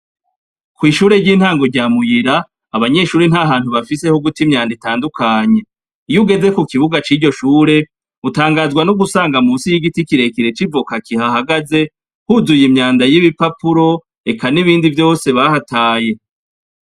Kw'ishure ry'intango rya muyira, abanyeshure ntahantu bafise hoguta imyanda itandukanye, iyo ugeze kukibuga ciryo shure utangazwa nogusanga munsi y'igiti kirekire c'ivoka kihahagaze huzuye imyanda y'ibipapuro eka n'ibindi vyose bahataye .